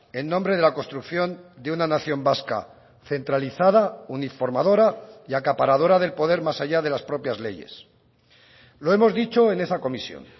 en nombre de la construcción de una nación vasca centralizada uniformadora y acaparadora del poder más allá de las propias leyes lo hemos dicho en esa comisión